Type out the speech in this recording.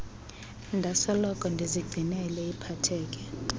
ndasoloko ndizigcinele ipakethe